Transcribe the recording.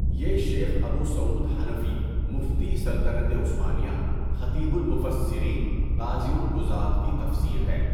یہ شیخ ابو سعود حنفی مفتیِ سلطنتِ عثمانیہ، خطیبُ المُفَسِّرین، قاضیُ القُضاة کی تفسیرہے۔